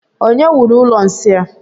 Onye wuru ụlọ nsị a?